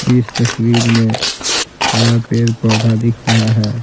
इस तस्वीर में हरा पेड़ पौधा दिख रहा है।